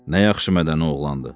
Nə yaxşı mədəni oğlandır.